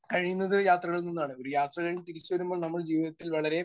Speaker 1 കഴിയുന്നത് യാത്രകളിൽ നിന്നാണ്. ഒരു യാത്ര കഴിഞ്ഞ് തിരിച്ചുവരുമ്പോൾ നമ്മൾ ജീവിതത്തിൽ വളരെ